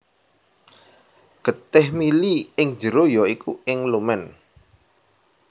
Getih mili ing njero ya iku ing lumen